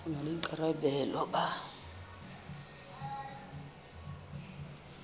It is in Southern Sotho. e na le boikarabelo ba